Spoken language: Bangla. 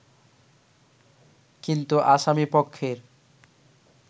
কিন্তু আসামী পক্ষের